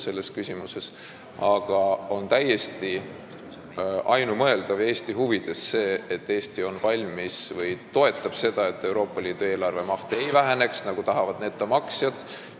Igal juhul on täiesti ainumõeldav ja meie huvides see, et Eesti toetab seda, et Euroopa Liidu eelarve maht ei väheneks, nagu tahavad netomaksjad.